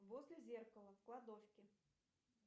возле зеркала в кладовке